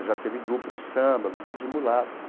Já teve grupo de samba, grupo de mulatas.